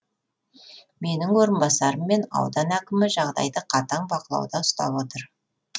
менің орынбасарым мен аудан әкімі жағдайды қатаң бақылауда ұстап отыр